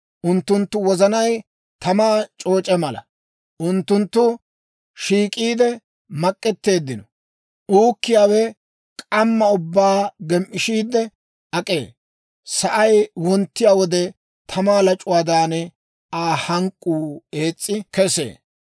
Unttunttu wozanay tamaa c'ooc'e mala; unttunttu shiik'iide mak'etteeddino. Uukkiyaawe k'amma ubbaa gem"ishiidde ak'ee; sa'ay wonttiyaa wode tamaa lac'uwaadan, Aa hank'k'uu ees's'i kesee.